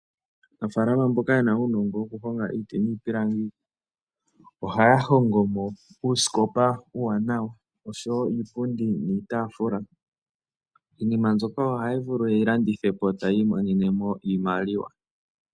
Aanafaalama mboka yena uunongo wokuhonga iiti niipilangi, ohaya hongo mo uusikopa uuwanawa oshowo iipundi niitaafula. Iinima mbyoka ohaya vulu yeyi landithe po ta yi imonene mo iimaliwa.